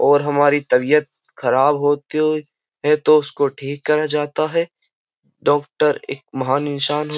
और हमारी तबीयत खराब होती है तो उसको ठीक करा जाता है डॉक्टर एक महान इंसान --